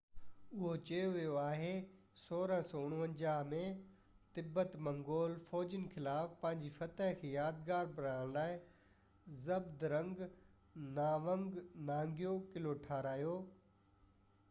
اهو چيو ويو آهي 1649 ۾ تبت منگول فوجين خلاف پنهنجي فتح کي يادگار بڻائڻ لاءِ زهبدرنگ ناوانگ نانگيو قلعو ٺاهرايو